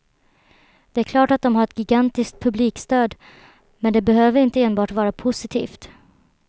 Det är klart att dom har ett gigantiskt publikstöd, men det behöver inte enbart vara positivt.